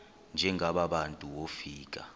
njengaba bantu wofika